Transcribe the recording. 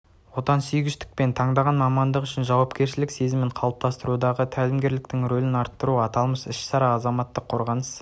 отансүйгіштік пен таңдаған мамандық үшін жауапкершілік сезімін қалыптастырудағы тәлімгерліктің ролін арттыру аталмыш іс-шара азаматтық қорғаныс